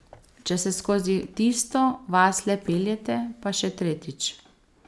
Če se skozi tisto vas le peljete, pa še tretjič.